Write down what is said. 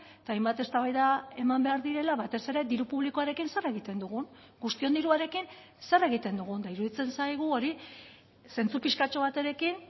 eta hainbat eztabaida eman behar direla batez ere diru publikoarekin zer egiten dugun guztion diruarekin zer egiten dugun eta iruditzen zaigu hori zentzu pixkatxo baterekin